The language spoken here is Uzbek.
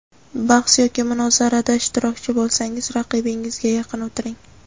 bahs yoki munozarada ishtirokchi bo‘lsangiz raqibingizga yaqin o‘tiring.